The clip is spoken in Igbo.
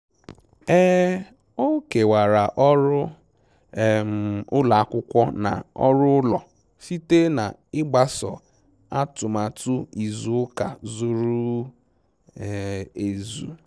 um O kewara ọrụ um ụlọ akwụkwọ na ọrụ ụlọ site na ịgbaso atụmatụ izu ụka zuru ezu